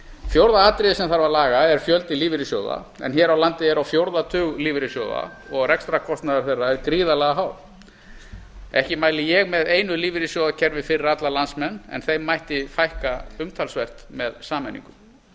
fjórða atriðið sem þarf að laga er fjöldi lífeyrissjóða en hér á landi er á fjórða tug lífeyrissjóða og rekstrarkostnaður þeirra er gríðarlega hár ekki mæli ég með einu lífeyrissjóðakerfi fyrir alla landsmenn en þeim mætti fækka umtalsvert með sameiningu